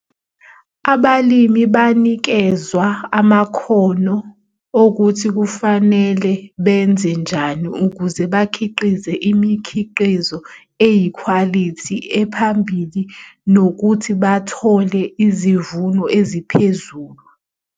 Abalimi banikezwa amakhono okuthi kufanele benze njani ukuze bakhiqize imikhiqizo eyikhwalithi ephambili nokuthi bathole izivuno eziphezulu.